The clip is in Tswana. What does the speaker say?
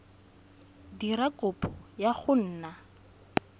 dira kopo ya go nna